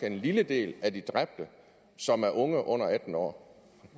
en lille del af de dræbte som er unge under atten år